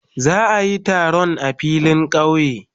Za a yi taron a filin kauye.